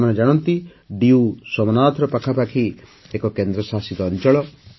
ଆପଣମାନେ ଜାଣନ୍ତି ଡିୟୁ ସୋମନାଥର ପାଖାପାଖି ଏକ କେନ୍ଦ୍ରଶାସିତ ଅଞ୍ଚଳ